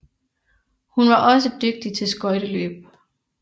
Hun var også dygtig til skøjteløb